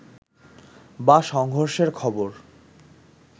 বা সংঘর্ষের খবর